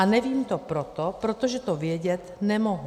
A nevím to proto, protože to vědět nemohu.